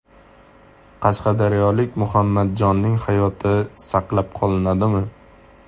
Qashqadaryolik Muhammadjonning hayoti saqlab qolinadimi?.